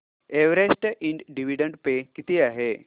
Everest इंड dividend पे किती आहे